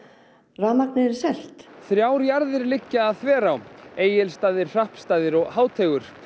rafmagnið yrði selt þrjár jarðir liggja að Þverá Egilsstaðir Hrappsstaðir og Háteigur